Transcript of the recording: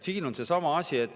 Siin on seesama asi.